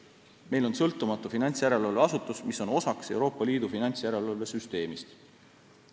Meil on sõltumatu finantsjärelevalveasutus, mis on osa Euroopa Liidu finantsjärelevalve süsteemist.